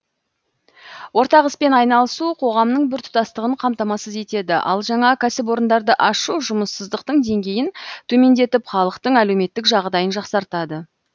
ортақ іспен айналысу қоғамның біртұтастығын қамтамасыз етеді ал жаңа кәсіпорындарды ашу жұмыссыздықтың деңгейін төмендетіп халықтың әлеуметтік жағдайын жақсартады